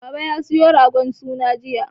Baba ya siyo ragon suna jiya.